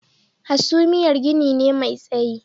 Hasumiyar gini ne mai tsayi